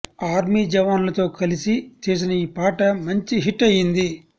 army జవాన్లతో కలిసి చేసిన ఈ పాట మంచి హిట్ అయింది